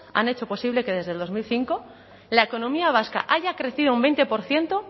han hecho posible que desde el dos mil cinco la economía vasca haya crecido un veinte por ciento